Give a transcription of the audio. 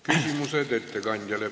Küsimused ettekandjale.